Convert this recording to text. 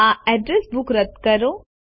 આ address book રદ કરો